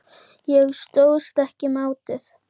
Ég stóðst ekki mátið.